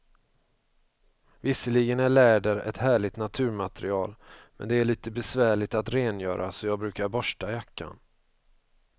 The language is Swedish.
Visserligen är läder ett härligt naturmaterial, men det är lite besvärligt att rengöra, så jag brukar borsta jackan.